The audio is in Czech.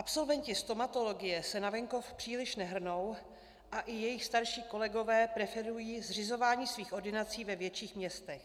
Absolventi stomatologie se na venkov příliš nehrnou a i jejich starší kolegové preferují zřizování svých ordinací ve větších městech.